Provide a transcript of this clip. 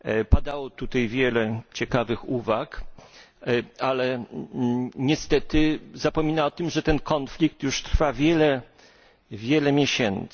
Padało tutaj wiele ciekawych uwag, ale niestety zapomina się o tym, że ten konflikt już trwa wiele, wiele miesięcy.